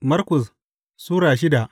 Markus Sura shida